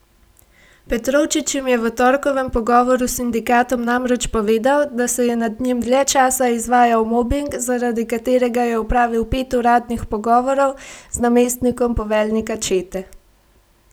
Petrovčič jim je v torkovem pogovoru s sindikatom namreč povedal, da se je nad njim dlje časa izvajal mobing, zaradi katerega je opravil pet uradnih pogovorov z namestnikom poveljnika čete.